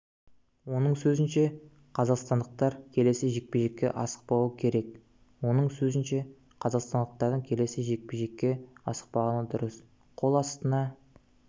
оның сөзінше қазақстандықтар келесі жекпе-жекке асықпауы керек оның сөзінше қазақстандықтардың келесі жекпе-жекке асықпағаны дұрыс қол астына